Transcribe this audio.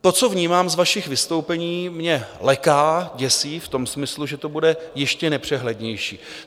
To, co vnímám z vašich vystoupení, mě leká, děsí v tom smyslu, že to bude ještě nepřehlednější.